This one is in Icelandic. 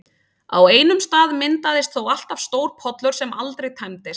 Á einum stað myndaðist þó alltaf stór pollur sem aldrei tæmdist.